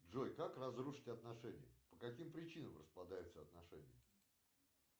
джой как разрушить отношения по каким причинам распадаются отношения